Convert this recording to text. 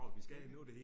Ja